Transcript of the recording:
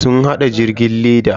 Sun hada jirgin leda.